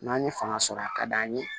N'an ye fanga sɔrɔ a ka d'an ye